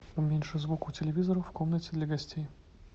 уменьши звук у телевизора в комнате для гостей